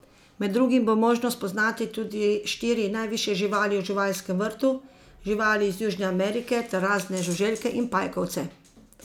Med drugim bo možno spoznati tudi štiri najvišje živali v živalskem vrtu, živali iz Južne Amerike ter razne žuželke in pajkovce.